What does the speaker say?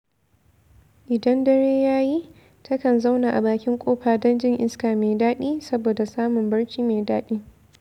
Idan dare ya yi, takan zauna a bakin ƙofa don jin iska mai daɗi saboda samun barci mai daɗi.